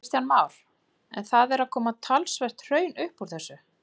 Kristján Már: En það er að koma talsvert hraun upp úr þessu?